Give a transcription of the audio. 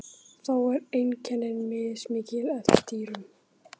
Þó eru einkenni mismikil eftir dýrum.